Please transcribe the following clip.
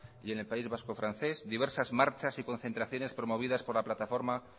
y en el país vasco francés diversas marchas y concentraciones promovidas por la plataforma